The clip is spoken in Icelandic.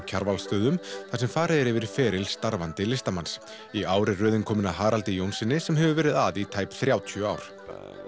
Kjarvalsstöðum þar sem farið er yfir feril starfandi listamanns í ár er röðin komin að Haraldi Jónssyni sem hefur verið að í tæp þrjátíu ár